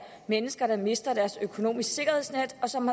mennesker der har mistet deres økonomiske sikkerhedsnet og som